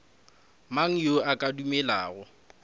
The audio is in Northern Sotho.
mang yo a ka dumelago